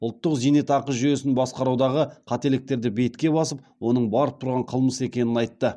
ұлттық зейнетақы жүйесін басқарудағы қателіктерді бетке басып оның барып тұрған қылмыс екенін айтты